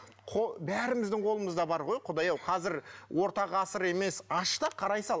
бәріміздің қолымызда бар ғой құдай ау қазір орта ғасыр емес аш та қарай сал